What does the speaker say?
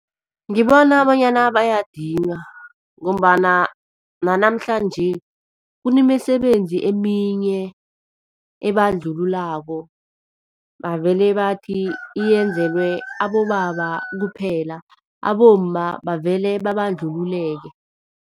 Ngibona bonyana bayadinywa ngombana nanamhlanje kunemisebenzi eminye ebandlululako, bavele bathi yenzelwe abobaba kuphela abomma bavele babandlululeke.